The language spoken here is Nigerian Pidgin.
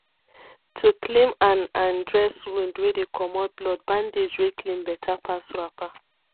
to cleam and and dress wound wey dey commot bloodbandage wey clean better pass wrapper